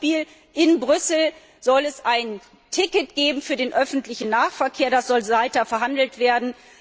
Zum Beispiel soll es in Brüssel ein Ticket geben für den öffentlichen Nahverkehr, das soll weiter verhandelt werden.